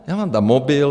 Já vám dám mobil.